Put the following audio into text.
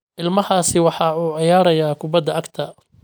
Ilmahaasi waxa uu ciyaarayaa kubbadda cagta